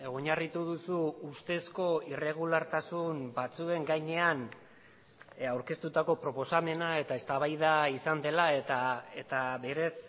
oinarritu duzu ustezko irregulartasun batzuen gainean aurkeztutako proposamena eta eztabaida izan dela eta berez